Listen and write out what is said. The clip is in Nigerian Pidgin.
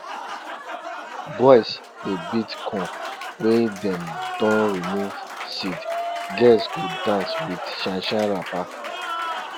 boys dey beat corn wey dem don remove seed girls go dance with shine shine wrapper